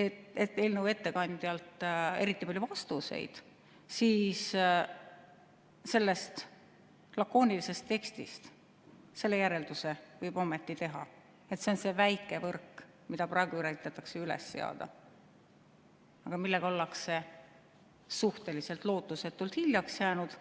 eelnõu ettekandjalt eriti palju vastuseid, siis sellest lakoonilisest tekstist selle järelduse võib ometi teha, et see on väike võrk, mida praegu üritatakse üles seada, aga millega ollakse suhteliselt lootusetult hiljaks jäänud.